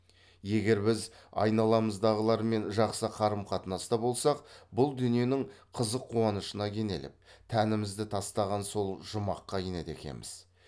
егер біз айналамыздағылармен жақсы қарым қатынаста болсақ бұл дүниенің қызық қуанышына кенеліп тәнімізді тастаған соң жұмаққа енеді екенбіз